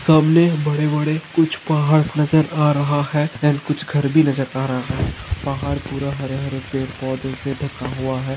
सामने बड़े बड़े कुछ पहाड़ नजर आ रहा है अँड कुछ घर भी नजर आ रहा है पहाड़ पूरा हरे हरे पेड़ पौधों से ढका हुआ है।